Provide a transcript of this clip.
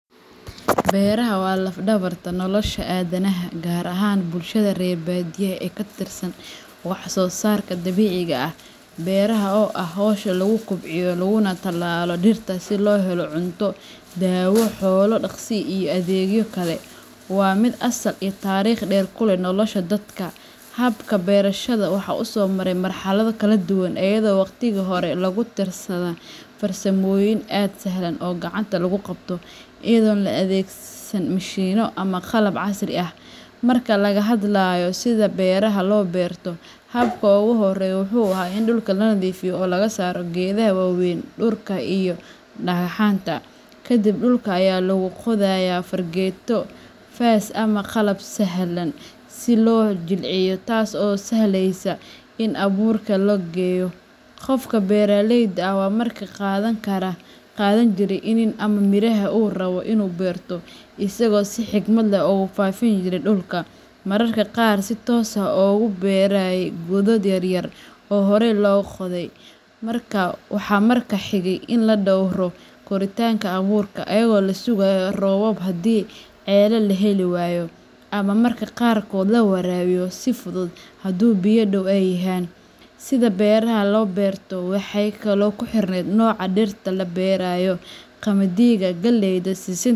Beraxa wa laaf dawarta nolosha adanaxa, gaar ahan bulshada rer badiyaxa ee katirsan wax sosarka dabiciga ah, beraxa oo ah xowsha lagukobciyo laguna talalo dirta si loxelo cunto, dawoo xoolo daqsii iyo adegyo kale, wa mid asal iyo tarikh deer kulex nolasha dadka, xabka berashada waxa usomare mar xalado kala duwan, ayado wagtiki hore lagu darsada farsamoyin aad saxlan o gacanta laguqabto, ayado laadegsan mishimo ama qalab casri ah, marka lagaxadlayo sidha beraxa loberto, xabka oguxoreyo muxu axay in duulka lanadifiyo oo lagasaro gedaxa wawen, duulka iyo dagaxanta, kadib duulka aya laguqodaya fargeto, faas ama qalab saxlan, sii lojilciyo taas oo saxleysa in aburka lageyo, gofka beraleyda wa marka gadankara, gadanjire ama miraxa oo rawoo inu berto, isago si xikmad leh ogu fafinjire dulka, mararka qaar sii tos ah oguberay godood yaryar, oo xorey logodey, marka waxa marka xigee in ladowro koritanka awurka iayago lasugayo roobab xadhii celel laxeliwayo, ama marka qaarkodh lawarawiyo sii fudud, xaduu biya doow ay yaxan, sidha beraha loberto waxay kalo kuxirned nola diirta laberayo, qamadiga, galeeyda, sisinta,